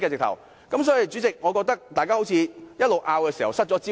代理主席，我覺得我們的爭論好像失去了焦點。